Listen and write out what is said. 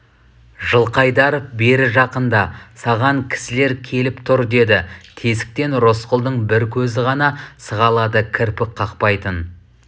жылқыайдаров бері жақында саған кісілер келіп тұр деді тесіктен рысқұлдың бір көзі ғана сығалады кірпік қақпайтын